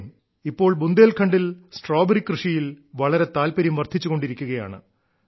ഇപ്പോൾ ബുന്ദേൻഖണ്ഡിൽ സ്ട്രോബെറി കൃഷിയിൽ വളരെ താല്പര്യം വർദ്ധിച്ചുകൊണ്ടിരിക്കുകയാണ്